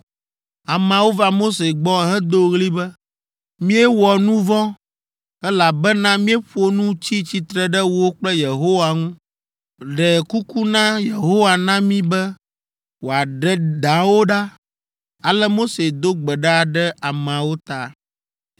Ameawo va Mose gbɔ hedo ɣli be, “Míewɔ nu vɔ̃, elabena míeƒo nu tsi tsitre ɖe wò kple Yehowa ŋu. Ɖe kuku na Yehowa na mí be wòaɖe dawo ɖa.” Ale Mose do gbe ɖa ɖe ameawo ta.